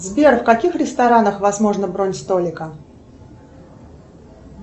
сбер в каких ресторанах возможна бронь столика